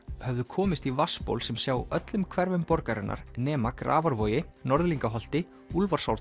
höfðu komist í vatnsból sem sjá öllum hverfum borgarinnar nema Grafarvogi Norðlingaholti